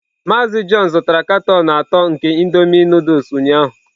Mazị John zụtara katọn atọ nke indomie Nụdụls ụnyahụ.